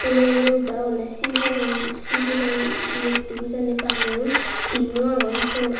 phoolo ugurey udi agonney sibey hon sibey hon mukti bu jani baneyun tinnu agon syot.